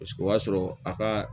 Paseke o y'a sɔrɔ a ka